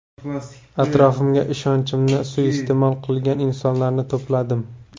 Atrofimga ishonchimni suiiste’mol qilgan insonlarni to‘pladim.